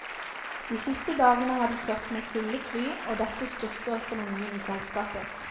De siste dagene har de kjørt med fulle fly og dette styrker økonomien i selskapet.